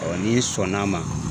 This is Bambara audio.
n'i sɔnna ma.